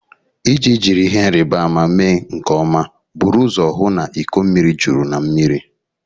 Iji jiri ihe nrịbama mee nke ọma, buru ụzọ hụ na iko mmiri juru na mmiri.